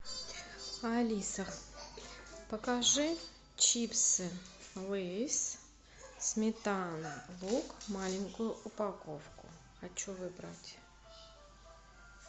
алиса покажи чипсы лейс сметана лук маленькую упаковку хочу выбрать